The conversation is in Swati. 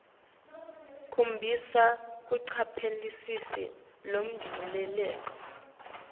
khombisa kucaphelisisa lokujulile